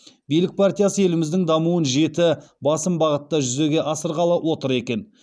билік партиясы еліміздің дамуын жеті басым бағытта жүзеге асырғалы отыр екен